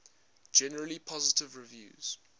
generally positive reviews